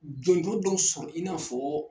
Jɔnjɔn dɔ sɔrɔ i n'a fɔ